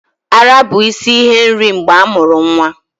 Ara bụ isi ihe nri mgbe amuru nwa